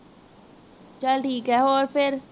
ਚਲ ਠੀਕ ਹੈ ਹੋਰ ਫਿਰ